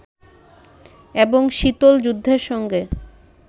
এবং শীতল যুদ্ধের সঙ্গে